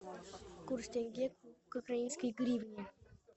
курс тенге к украинской гривне